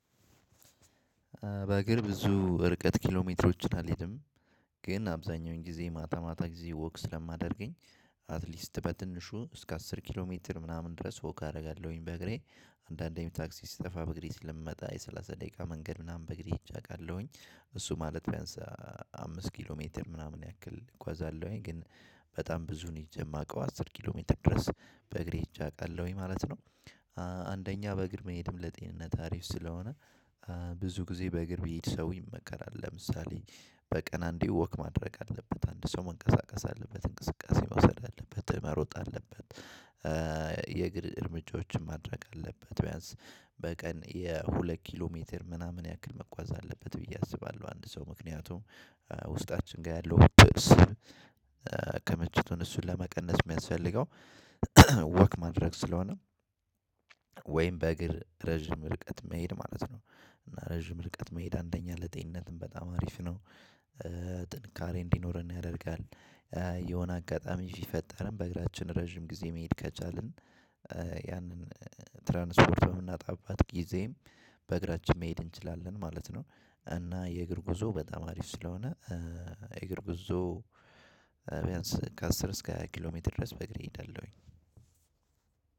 በእግር ብዙ እርቀት ኪሎሜትሮችን አልሄድም። ግን አብዛኛውን ጊዜ ማታ ማታ ጊዜ ወክ ስለማደርግ አትሊስት በትንሹ እስከ አስር ኪሎ ሜትር ምናምን ድረስ ወክ አደርጋለሁኝ። በእግሬ አንዳንዴም ታክሲ ሲጠፋ በእግሬ ስለምመጣ የሰላሳ ደቄቃ መንገድ ምናምን በእግሬ ሂጀ አውቃለሁኝ። እሱ ማት ቢያንስ አምስት ኪሎሜትር ምናምን እጎአዛለሁኝ ግን ብዙውን ሄጀ እማውቀው አስር ኪሎሜትር ድረስ በእግሬ ሄጀ አውቃለሁኝ ማለት ነው። አንደኛ በእግር መሄድም ለጤንነት አሪፍ ስለሆነ ብዙ ጊዜ በእግር ብሄድ ሰው ይመከራል ለምሳሌ በቀን አንዴ ወክ ማድረግ አለበት አንድ ሰው መንቀሳቀስ አለበት እንቅስቃሴ መውሰድ አለበት መሮጥ አለበት። የእግር እርምጃወችን ማድረግ አለበት ቢያንስ በቀን የሁለት ኪሎሜትር ምናምን ያህል መጓዝ አለበት ብየ አስባለሁ። አንድ ሰው ምክንያቱም ውስጣችን ጋር ያለው ስብ። ክምችቱን እሱን ለመቀነስ እሚያስፈልገው ወክ ማድረግ ስለሆነ። ወይም በእግር ረጅም ርቀት መሄድ ማለት ነው። እና ረጅም ርቀት መሄድ አንደኛ ለጤንነትም በጣም አሪፍ ነው። ጥንካሬ እንዲኖረን ያደርጋል። የሆነ አጋጣሚ ሲፈጠርም በእግራችን ረጅም ጊዜ መሄድ ከቻልን። ያንን ትራንስፖርት በምናጣባት ጊዜም በእግራችን መሄድ እንችላለን ማለት ነው። እና የእግር ጉዞ በጣም አሪፍ ስለሆነ እግር ጉዞ። ቢያንስ ከአስር እስከ ሃያ ኪሎ ሜትር ድረስ በእግሬ እሄዳለሁኝ።